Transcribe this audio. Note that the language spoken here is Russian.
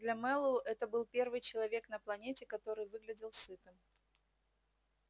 для мэллоу это был первый человек на планете который выглядел сытым